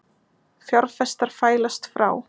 Fjárfestar fælast frá